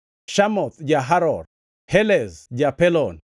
Shamoth ja-Haror, Helez ja-Pelon,